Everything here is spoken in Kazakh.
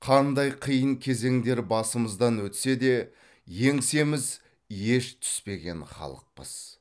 қандай қиын кезеңдер басымыздан өтсе де еңсеміз еш түспеген халықпыз